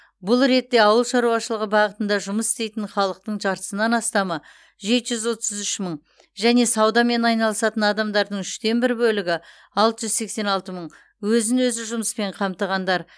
бұл ретте ауыл шаруашылығы бағытында жұмыс істейтін халықтың жартысынан астамы жеті жүз отыз үш мың және саудамен айналысатын адамдардың үштен бір бөлігі алты жүз сексен алты мың өзін өзі жұмыспен қамтығандар